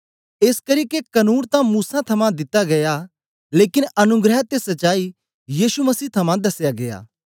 एसकरी के कनून तां मूसा थमां दिता गीया लेकन अनुग्रह ते सच्चाई यीशु मसीह थमां दसेया गीया